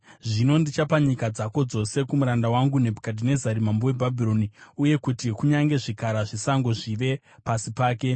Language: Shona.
Zvino, ndichapa nyika dzako dzose kumuranda wangu Nebhukadhinezari mambo weBhabhironi; uye kuti kunyange zvikara zvesango zvive pasi pake.